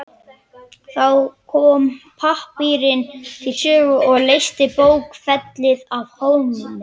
Þá kom pappírinn til sögu og leysti bókfellið af hólmi.